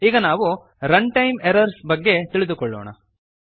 ಈಗ ನಾವು runtime errors ಬಗ್ಗೆ ತಿಳಿದುಕೊಳ್ಳೋಣ